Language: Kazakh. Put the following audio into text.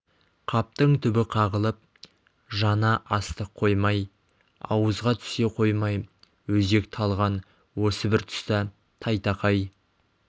қаптың түбі қағылып жана астық қоймай ауызға түсе қоймай өзек талған осы бір тұста тайтақай